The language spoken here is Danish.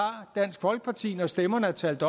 dansk folkeparti når stemmerne er talt